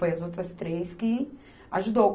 Foi as outras três que ajudou.